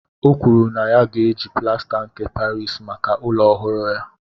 O kwuru na ya ga-eji plasta nke Parisi maka ụlọ ọhụrụ ya